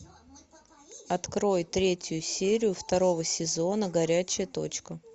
открой третью серию второго сезона горячая точка